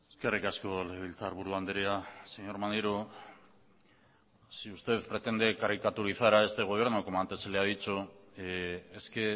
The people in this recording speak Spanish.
eskerrik asko legebiltzarburu andrea señor maneiro si usted pretende caricaturizar a este gobierno como antes se la he dicho es que